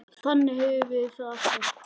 Þannig höfum við það alltaf.